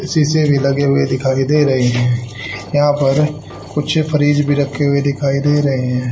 शीशे भी लगे हुए दिखाई दे रहे हैं यहां पर कुछ फरीज भी रखे हुए दिखाई दे रहे हैं।